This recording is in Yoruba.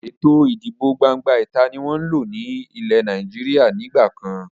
Ètò ìdìbò gbangba ìta ni wọn ń lò ní ilẹ́ Nàìjíríà ni ìgbàkan.